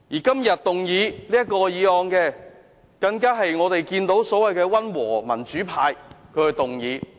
今天這項議案，是由所謂的溫和民主派動議的。